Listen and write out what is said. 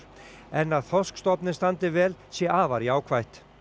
en að þorskstofninn standi vel sé afar jákvætt